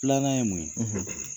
Filanan ye mun ye ?